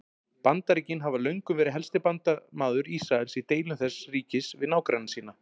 Bandaríkin hafa löngum verið helsti bandamaður Ísraels í deilum þess ríkis við nágranna sína.